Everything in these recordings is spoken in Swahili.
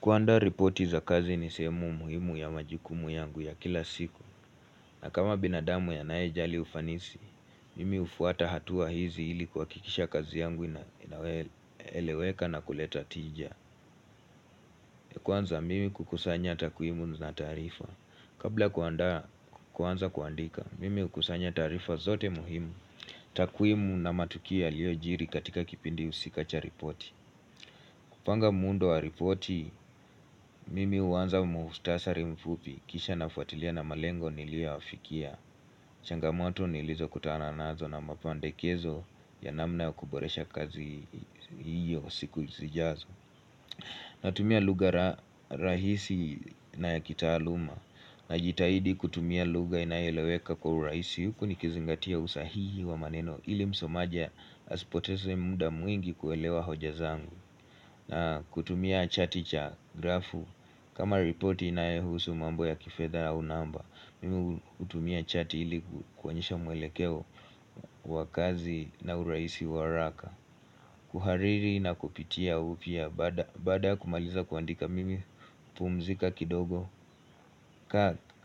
Kuanda ripoti za kazi ni sehemu muhimu ya majukumu yangu ya kila siku na kama binadamu anae jali ufanisi, mimi ufuata hatua hizi ili kwa kikisha kazi yangu na eleweka na kuleta tija Kwanza mimi kukusanya takwimu na taarifa Kabla kuanda kwanza kuandika, mimi kukusanya tarifa zote muhimu Takuimu na matukia liyo jiri katika kipindi usika cha ripoti kupanga muundo wa ripoti, mimi uwanza muustasari mfupi, kisha nafwatilia na malengo nilia wafikia. Changamoto nilizo kutana nazo na mapandekezo ya namna ya kuboresha kazi hiyo siku zijazo. Natumia lugha rahisi na ya kita taaluma. Najitaidi kutumia lugha inayeleweka kwa urahisi huku ni kizingatia usahihi wa maneno ili msomaja asipotesi muda mwingi kuelewa hoja zangu. Na kutumia chati cha grafu kama ripoti nayohusu mambo ya kifedha au namba Mimi utumia chati iliku kwanisha mwelekeo wakazi na urahisi wa haraka kuhariri na kupitia upya Baada kumaliza kuandika mimi pumzika kidogo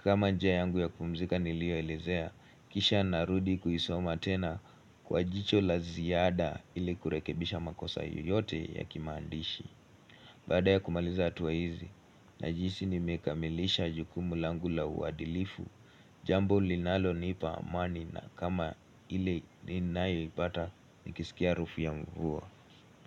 kama njia yangu ya kumzika nilioelezea Kisha narudi kuisoma tena Kwa jicho la ziada iliku rekebisha makosa yoyote ya kimandishi Bada ya kumaliza atuwa hizi, najihisi nimekamilisha jukumu langu la uwadilifu, jambo linalonipa amani na kama ile ninayipata nikisikia harufu ya mvua.